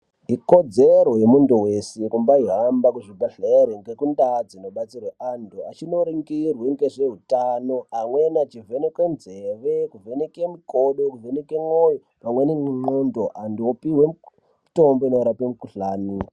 Ikodzero yemuntu weshe kumbayi hamba kuzvibhedhleri nekundaa dzinobetserwe antu achinoringirwe ngezveutano amweni achivhenekwe nzeve kuvhenekwe mukodo kuvheneke mwoyo pamweni nemwoyo anhu opiwe mutombo inorape mukhuhlani.